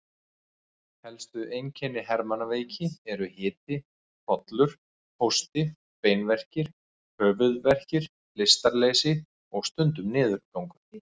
Helstu einkenni hermannaveiki eru hiti, hrollur, hósti, beinverkir, höfuðverkur, lystarleysi og stundum niðurgangur.